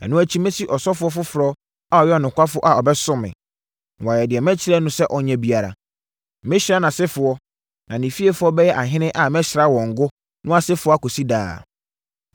Ɛno akyi masi ɔsɔfoɔ foforɔ a ɔyɛ ɔnokwafoɔ a ɔbɛsom me, na wayɛ deɛ mɛkyerɛ no sɛ ɔnyɛ biara. Mɛhyira nʼasefoɔ, na ne fiefoɔ bɛyɛ ahene a mɛsra wɔn ngo no asefoɔ akɔsi daa.